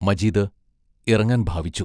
മജീദ് ഇറങ്ങാൻ ഭാവിച്ചു.